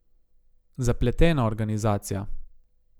Zapletena organizacija.